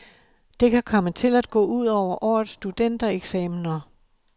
Det kan komme til at gå ud over årets studentereksamener.